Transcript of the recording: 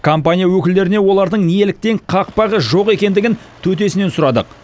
компания өкілдеріне олардың неліктен қақпағы жоқ екендігін төтесінен сұрадық